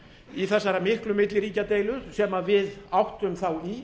í þessari miklu milliríkjadeilu sem við áttum þá í